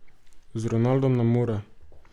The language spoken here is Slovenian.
Z Ronaldom nam mora.